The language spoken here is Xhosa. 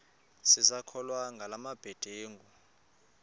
sisakholwa ngala mabedengu